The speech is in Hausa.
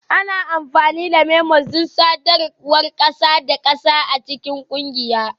Ana amfani da memos don sadarwar ƙasa da ƙasa a cikin ƙungiya